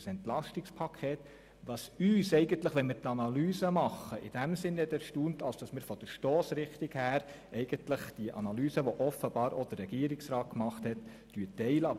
Es hat uns erstaunt, dass wir – wenn wir die Analyse machen – die Analyse des Regierungsrats hin Bezug auf deren Stossrichtung teilen.